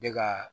Ne ka